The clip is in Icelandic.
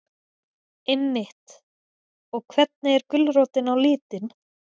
Einmitt, og hvernig er gulrótin á litin?